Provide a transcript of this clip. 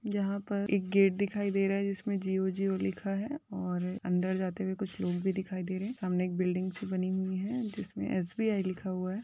जहां पर एक गेट दिखाई दे रहा है जिसमे जियो जियो लिखा है और अंदर जाते हुए कुछ लोग भी दिखाई दे रहे है सामने एक बिल्डिंग सी बनी हुई है जिसमे एस बी आय लिखा हुवा है।